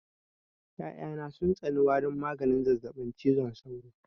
Ƴaƴa na sun tsani warin maganin zazzaɓin cizon sauro